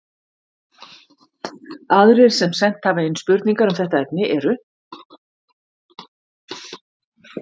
Aðrir sem sent hafa inn spurningar um þetta efni eru: